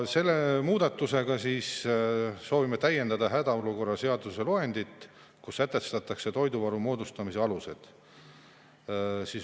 Selle muudatusega soovime täiendada hädaolukorra seaduse loendit, kus sätestatakse toiduvaru moodustamise alused.